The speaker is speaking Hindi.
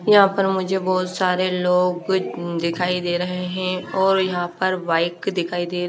यहाँ पर मुझे बहोत सारे लोग दिखाई दे रहे है और यहाँ पर बाइक दिखाई दे रही --